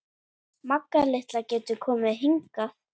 Magga litla getur komið hingað.